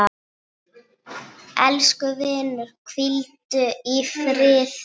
Elsku vinur, hvíldu í friði.